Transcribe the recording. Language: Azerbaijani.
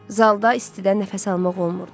Zalda istidən nəfəs almaq olmurdu.